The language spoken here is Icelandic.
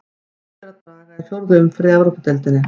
Búið er að draga í fjórðu umferð í Evrópudeildinni.